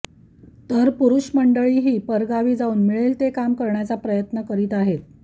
तर पुरुष मंडळीही परगावी जाऊन मिळेल ते काम करण्याचा प्रयत्न करीत आहेत